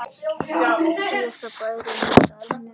Síðasti bærinn í dalnum